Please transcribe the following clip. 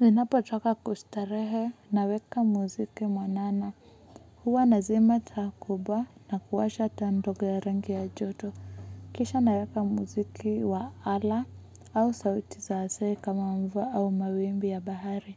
Ninapotoka kustarehe naweka muziki mwanana. Huwa nazima taa kubwa na kuwasha taa ndogo ya rangi ya joto. Kisha naweka muziki wa ala au sauti za asili kama mvua au mawimbi ya bahari.